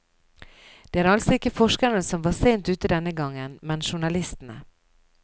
Det er altså ikke forskerne som var sent ute denne gangen, men journalistene.